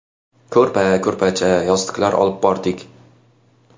Ko‘rpa-ko‘rpacha, yostiqlar olib bordik.